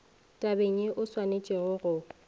tabeng ye o swanetšego go